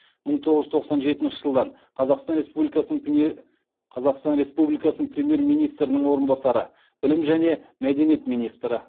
мың тоғыз жүз тоқсан жетінші жылдан қазақстан республикасының премьер министрінің орынбасары білім және мәдениет министрі